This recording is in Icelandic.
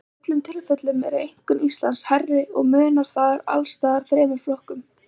Í öllum tilfellum er einkunn Íslands hærri og munar þar alls staðar þremur flokkum.